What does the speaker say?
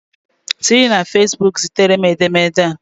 Siri na fesbuku zitere m edemede a